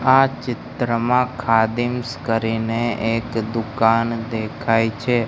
આ ચિત્રમાં ખાદીમ્સ કરીને એક દુકાન દેખાય છે.